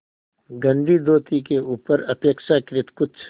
गंदी धोती के ऊपर अपेक्षाकृत कुछ